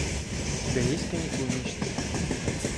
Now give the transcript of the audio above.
у тебя есть каникулы мечты